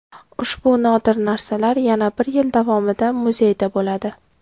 Ushbu nodir narsalar yana bir yil davomida muzeyda bo‘ladi.